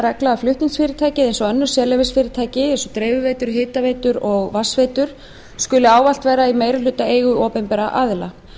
regla að flutningsfyrirtækið eins og önnur sérleyfisfyrirtæki skuli ávallt vera í meirihlutaeigu opinberra aðila